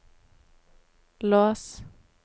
lås